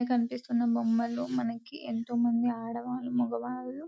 ఇ కనిపిస్తున్న బొమ్మలు మనకి ఎంతో మంది ఆడవాళ్లు మగవాళ్లు --